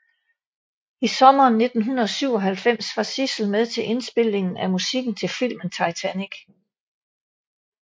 I Sommeren 1997 var Sissel med til indspillingen af musikken til filmen Titanic